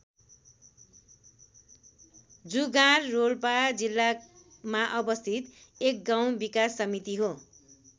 जुगाँर रोल्पा जिल्लामा अवस्थित एक गाउँ विकास समिति हो।